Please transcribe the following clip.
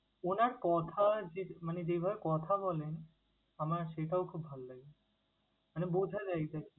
উনার কথা যে~ মানে যেভাবে কথা বলে, আমার সেটাও খুব ভাল লাগে। মানে বুঝা যায় exactly ।